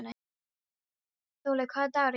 Þollý, hvaða dagur er í dag?